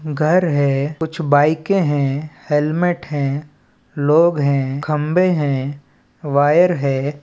घर है कुछ बाइके हैं हेलमेट हैं लोग हैं खंभे है वायर है।